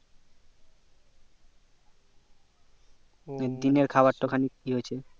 দিনের খাবার তা ই হচ্ছে